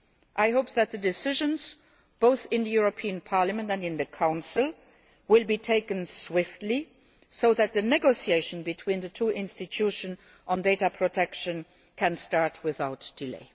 I hope that the decisions, both in Parliament and in the Council, will be taken swiftly so that the negotiations between the two institutions on data protection can start without delay.